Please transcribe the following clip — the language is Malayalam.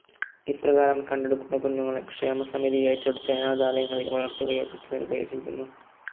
ഇപ്രകാരം കണ്ടെടുക്കുന്ന കുഞ്ഞുങ്ങളെ ക്ഷേമസമിതി ഏറ്റെടുത്തു അനാഥാലയങ്ങളിൽ വളർത്തുകയോ ദത്തു നൽകുകയോ ചെയ്യുന്നു.